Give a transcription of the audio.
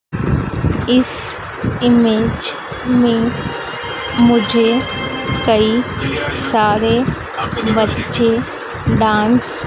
इस इमेज में मुझे कई सारे बच्चे डांस --